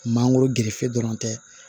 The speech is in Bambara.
Mangoro gerefe dɔrɔn tɛ